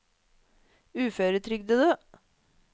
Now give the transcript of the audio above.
uføretrygdede